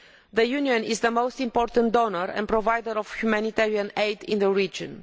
The Union is the most important donor and provider of humanitarian aid in the region.